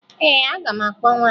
Ee, aga m akpọ nwaanyị ahụ